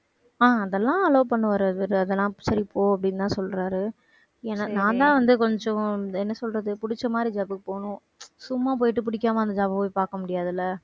அஹ் அதெல்லாம் allow பண்ணுவாரு அவரு அதெல்லாம் சரி போ அப்படின்னுதான் சொல்றாரு ஏன்னா நான்தான் வந்து கொஞ்சம் என்ன சொல்றது புடிச்ச மாதிரி job க்கு போகணும் சும்மா போயிட்டு பிடிக்காம அந்த job அ போய் பார்க்க முடியாது இல்லை